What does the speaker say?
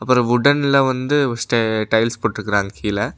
ஒரு வுடன்ல வந்து ஸ்டெ டைல்ஸ் போட்ருக்காங்க கீழ.